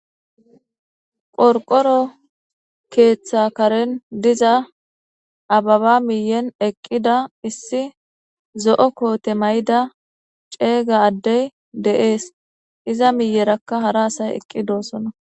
qorqoro keeththa karen diza ababa miyen eqqida issi zo'o koote mayida ceeyga addey de'ees iza miyerakka hara asay eqqi doosona